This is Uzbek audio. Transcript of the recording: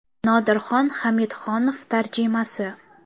Nodirxon Hamidxonov tarjimasi !